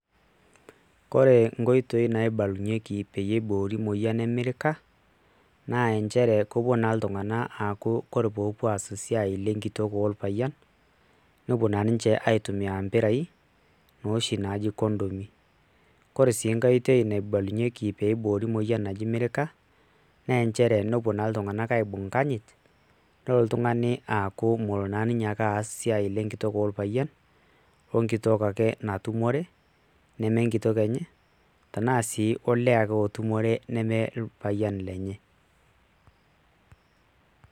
Kore enkoitoi naibalunyeki peyie iboori moyian emirika, naa injere kopuo naa iltung'anak aku kore popuo aas esiai lenkitok orpayian, nopuo na ninche aitumia mpirai, noshi naji kondomi. Kore enkae oitoi naibalunyeki peiboori moyian naji merika, ne njere nopuo naa iltung'anak aibung' nkanyit, nolo ltung'ani aaku molo naa ninye ake aas esiai lenkitok orpayian, onkitok ake natumore, nemenkitok enye, tanaa si olee ake otumore neme orpayian lenye.